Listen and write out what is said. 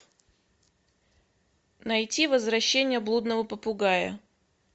найти возвращение блудного попугая